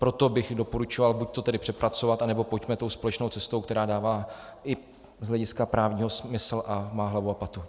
Proto bych doporučoval buďto to tedy přepracovat, nebo pojďme tou společnou cestou, která dává i z hlediska právního smysl a má hlavu a patu.